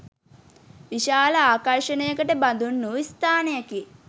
විශාල ආකර්ෂණයකට බඳුන් වූ ස්ථානයකි